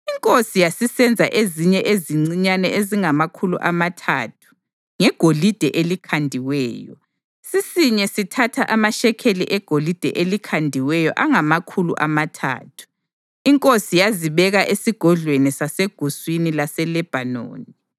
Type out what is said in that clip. Inkosi yasisenza ezinye ezincinyane ezingamakhulu amathathu ngegolide elikhandiweyo, sisinye sithatha amashekeli egolide elikhandiweyo angamakhulu amathathu. Inkosi yazibeka eSigodlweni saseGuswini laseLebhanoni.